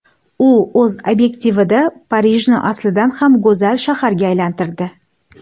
U o‘z obyektivida Parijni aslidan ham go‘zal shaharga aylantirdi.